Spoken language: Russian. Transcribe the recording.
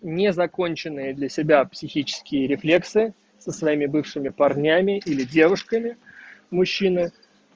незаконченные для себя психические рефлексы со своими бывшими парнями или девушками мужчины